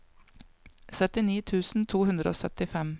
syttini tusen to hundre og syttifem